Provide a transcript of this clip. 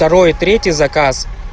второй и третий заказ